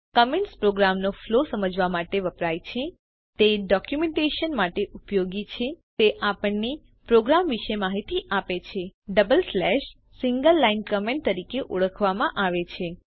comments પ્રોગ્રામનો flow સમજવા માટે વપરાય છે તે ડોકયુમેન્ટેશન માટે ઉપયોગી છે તે આપણને પ્રોગ્રામ વિશે માહિતી આપે છે double slash single line comment તરીકે ઓળખવામાં આવે છે